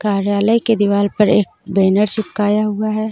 कार्यालय के दीवाल पर एक बैनर चिपकाया हुआ हे.